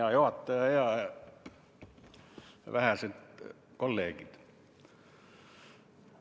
Hea juhataja ja vähesed kolleegid!